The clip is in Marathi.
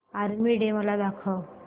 आर्मी डे मला दाखव